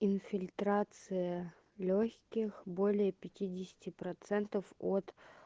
инфильтрация лёгких более пятидесяти процентов от